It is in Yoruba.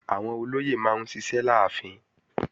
Àwọn olóyè máa ń ṣiṣẹ́ láàfin